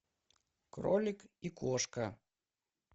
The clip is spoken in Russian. кролик и кошка